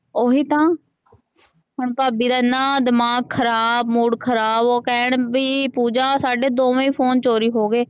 ਓਹੀ ਤਾ ਹੁਣ ਭਾਭੀ ਦਾ ਇਨਾ ਦਿਮਾਗ ਖਰਾਬ ਮੂਡ ਖਰਾਬ ਓਹ ਕਹਿਣ ਵੀ ਪੂਜਾ ਸਾਡੇ ਦੋਵੇ ਫੋਨ ਚੋਰੀ ਹੋਗੇ।